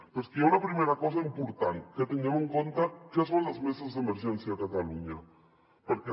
però és que hi ha una primera cosa important que tinguem en compte què són les meses d’emergència a catalunya perquè